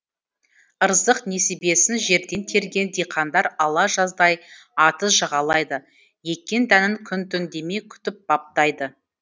ырзық несібесін жерден терген диқандар ала жаздай атыз жағалайды еккен дәнін күн түн демей күтіп баптайды